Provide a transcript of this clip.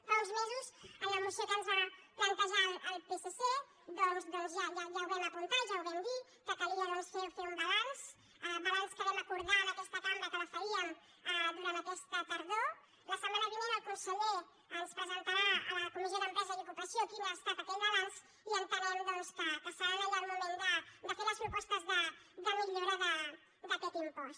fa uns mesos en la moció que ens va plantejar el psc doncs ja ho vam apuntar ja ho vam dir que calia fer un balanç balanç que vam acordar en aquesta cambra que el faríem durant aquesta tardor la setmana vinent el conseller ens presentarà a la comissió d’empresa i ocupació quin ha estat aquell balanç i entenem doncs que serà allà el moment de fer les propostes de millora d’aquest impost